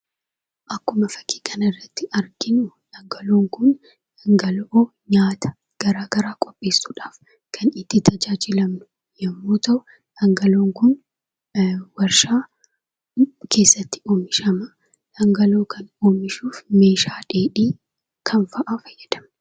Akkuma fakkii kana irratti arginu dhangala'oon kun dhangala'oo nyaata garaa garaa qopheessuudhaaf kan itti tajaajilamnu yemmuu ta'u, dhangala'oon kun warshaa keessatti oomishama. Dhangala'oo kana oomishuuf meeshaa dheedhii kam fa'aa fayyadamna?